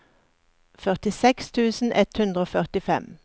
førtiseks tusen ett hundre og førtifem